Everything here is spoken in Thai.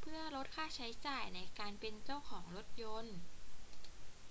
เพื่อลดค่าใช้จ่ายในการเป็นเจ้าของรถยนต์